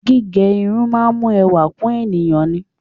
Gígẹ irun máa ń mú ẹwà kún èèyàn ni.